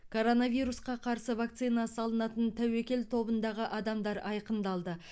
коронавирусқа қарсы вакцина салынатын тәуекел тобындағы адамдар айқындалды